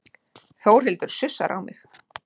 Þórhildur sussar á mig.